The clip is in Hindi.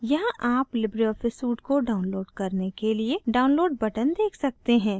यहाँ आप libreoffice suite को download करने के लिए download button देख सकते हैं